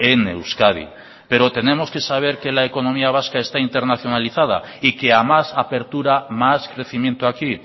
en euskadi pero tenemos que saber que la economía vasca está internacionalizada y que a más apertura más crecimiento aquí